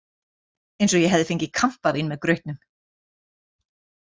Eins og ég hefði fengið kampavín með grautnum.